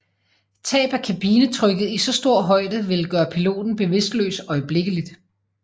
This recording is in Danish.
Tab af kabinetrykket i så stor højde ville gøre piloten bevidstløs øjeblikkeligt